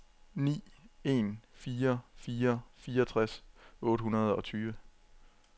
ni en fire fire fireogtres otte hundrede og tyve